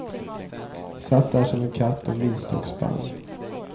Satt där som en katt och myste och spann.